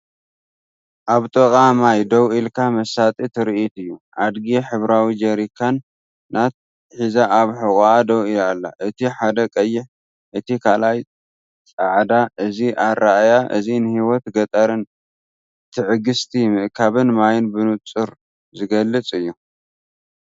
ኣብ ጥቓ ማይ ደው ኢልካ መሳጢ ትርኢት እዩ። ኣድጊ ሕብራዊ ጀሪካናት ሒዛ ኣብ ሕቖኣ ደው ኢላ፤ እቲ ሓደ ቀይሕ፡ እቲ ካልኣይ ጻዕዳ እዩ። እዚ ኣረኣእያ እዚ ንህይወት ገጠርን ትዕግስቲ ምእካብ ማይን ብንጹር ዝገልጽ እዩ።